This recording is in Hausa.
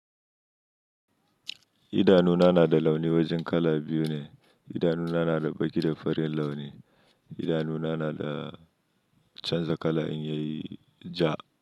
Idanuna na da launi wajen kala biyu ne. Idanuna na da baƙi da farin launi. Idanuna na da canza kala in yayi ja.